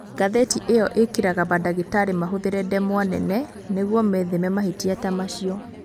Ngathĩti ĩyo ĩkĩraga mandagĩtarĩ mahũthĩre ndemwa nene nĩguo metheme mahĩtia ta macio.